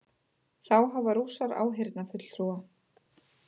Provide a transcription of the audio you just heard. Þá hafa Rússar áheyrnarfulltrúa